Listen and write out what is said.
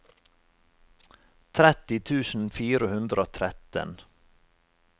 tretti tusen fire hundre og tretten